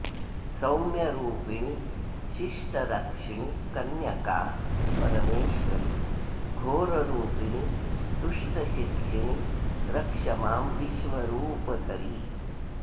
सौम्यरूपिणि शिष्टरक्षिणि कन्यका परमेश्वरि घोररूपिणि दुष्टशिक्षिणि रक्ष मां विश्वरूपधरि